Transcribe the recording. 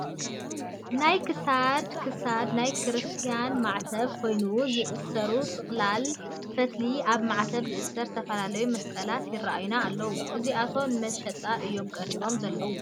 ናይ ክሳድ ክሳድ ናይ ክርስቲያ ማዕተብ ኮይኖም ዝእሰሩ ጥቕላል ፈትልታትን ኣብ ማዕተብ ዝእሰሩ ዝተፈላለዩ መስቀላትን ይረአዩና ኣለዉ፡፡ እዚኣቶም ንመሸጣ እዮም ቀሪቦ ዘለዉ፡፡